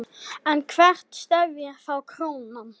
En hvert stefnir þá krónan?